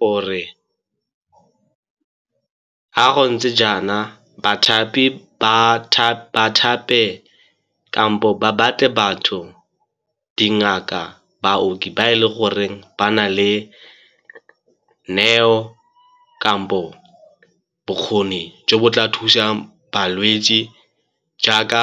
Gore ga go ntse jaana bathapi ba thape kampo ba batle batho, dingaka, baoki ba e le goreng ba na le neo kampo bokgoni jo bo tla thusang balwetse jaaka